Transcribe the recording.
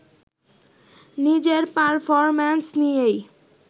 নিজের পারফরম্যান্স নিয়েই